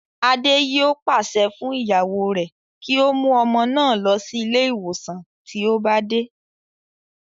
Adé yòó pàṣẹ fún ìyàwó rẹ̀ kí ó mú ọmọ náà lọ sí ilé ìwòsàn tí ó bá dé